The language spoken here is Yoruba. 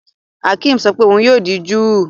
Akim sọ pé òun yóò di júù